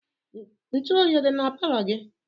Ntu oyi ọ dị na palọ gị?